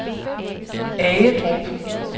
Agedrup